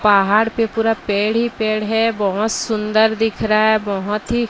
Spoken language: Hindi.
पहाड़ पे पूरा पेड़ ही पेड़ है बहोत सुंदर दिख रहा है बहोत ही--